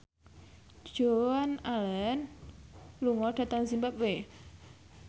Joan Allen lunga dhateng zimbabwe